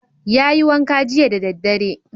Yayi wanka jiya da daddare